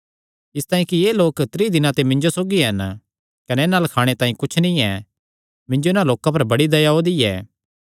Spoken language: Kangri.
इसतांई कि एह़ लोक त्रीं दिनां ते मिन्जो सौगी हन कने इन्हां अल्ल खाणे तांई कुच्छ नीं ऐ मिन्जो इन्हां लोकां पर बड़ी दया ओआ दी ऐ